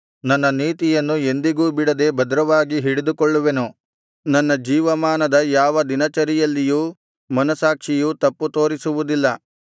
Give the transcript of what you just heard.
ನನ್ನ ನೀತಿಯನ್ನು ಎಂದಿಗೂ ಬಿಡದೆ ಭದ್ರವಾಗಿ ಹಿಡಿದುಕೊಳ್ಳುವೆನು ನನ್ನ ಜೀವಮಾನದ ಯಾವ ದಿನಚರಿಯಲ್ಲಿಯೂ ಮನಸ್ಸಾಕ್ಷಿಯು ತಪ್ಪು ತೋರಿಸುವುದಿಲ್ಲ